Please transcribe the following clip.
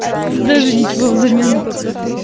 даже ничего взамен не попрошу